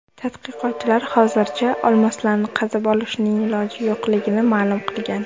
Tadqiqotchilar hozircha olmoslarni qazib olishning iloji yo‘qligini ma’lum qilgan.